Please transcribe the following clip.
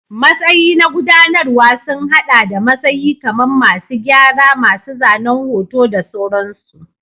Matsayi na gudanarwa sun haɗa da matsayi kamar masu gyara, masu zanen hoto da sauransu.